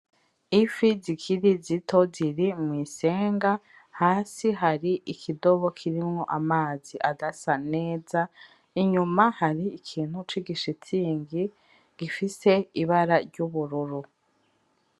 Ifi zikiri zito ziri mw'isenga. Hasi hari ikidobe kirimwo amazi adasa neza, inyuma hari ikintu c'igishitigi gifise ibara ry'ubururu.